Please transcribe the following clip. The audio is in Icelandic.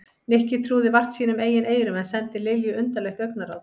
Nikki trúði vart sínum eigin eyrum en sendi Lilju undarlegt augnaráð.